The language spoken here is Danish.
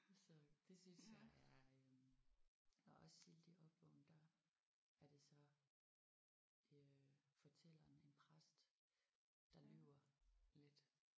Så det synes jeg er øh og også Sildig Opvågnen der er det så øh fortælleren en præst der lyver lidt